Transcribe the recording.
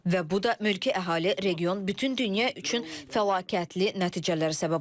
Və bu da mülki əhali, region, bütün dünya üçün fəlakətli nəticələrə səbəb ola bilər.